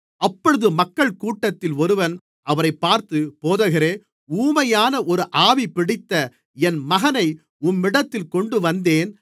அப்பொழுது மக்கள்கூட்டத்தில் ஒருவன் அவரைப் பார்த்து போதகரே ஊமையான ஒரு ஆவி பிடித்த என் மகனை உம்மிடத்தில் கொண்டுவந்தேன்